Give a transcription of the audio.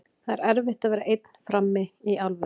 Það er erfitt að vera einn frammi, í alvöru.